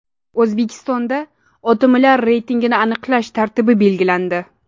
O‘zbekistonda OTMlar reytingini aniqlash tartibi belgilandi.